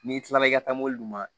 N'i kilala i ka taa mobili ma